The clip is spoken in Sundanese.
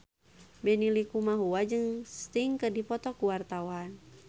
Benny Likumahua jeung Sting keur dipoto ku wartawan